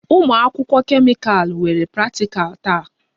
Ụmụ akwụkwọ kemịkal nwere praktikal taa